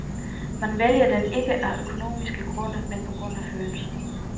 Man vælger den ikke af økonomiske grunde, men på grund af følelser.